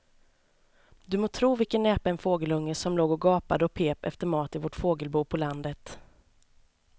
Du må tro vilken näpen fågelunge som låg och gapade och pep efter mat i vårt fågelbo på landet.